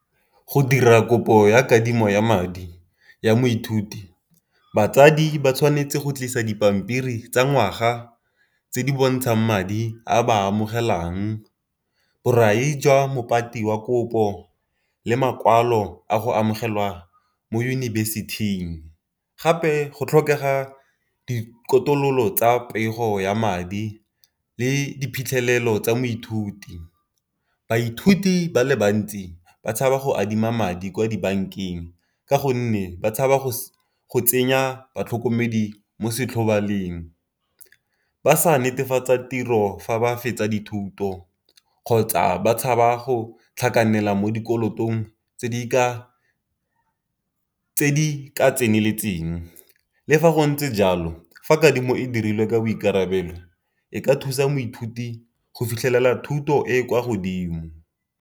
Go dira kopo ya kadimo ya madi ya moithuti, batsadi ba tshwanetse go tlisa dipampiri tsa ngwaga tse di bontshang madi a ba amogelang. Borai jwa wa kopo le makwalo a go amogelwa mo yunibesithing gape go tlhokega tsa pego ya madi le diphitlhelelo tsa moithuti. Baithuti ba le bantsi ba tshaba go adima madi kwa dibankeng ka gonne ba tshaba go tsenya batlhokomedi mo . Ba sa netefatsa tiro fa ba fetsa dithuto kgotsa ba tshaba go tlhakanela mo dikolotong tse di ka tseneletseng. Le fa go ntse jalo fa kadimo e dirilwe ka boikarabelo e ka thusa moithuti go fitlhelela thuto e e kwa godimo.